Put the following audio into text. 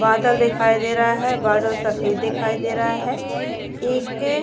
बादल दिखाई दे रहा है बादल सफेद दिखाई दे रहा एक--